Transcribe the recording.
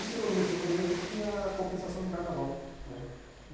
Chegou no mês de fevereiro, tinha a compensação de carnaval né.